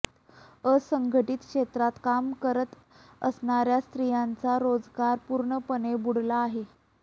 असंघटित क्षेत्रात काम करत असणार्या स्त्रियांचा रोजगार पूर्णपणे बुडाला आहे